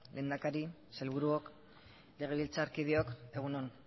lehendakari sailburuok legebiltzarkideok egun on